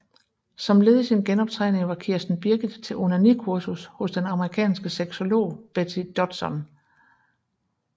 Som led i sin genoptræning var Kirsten Birgit til onanikursus hos den amerikanske sexolog Betty Dodson